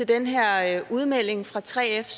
den her udmelding fra 3f